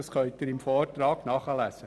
Das können Sie im Vortrag nachlesen.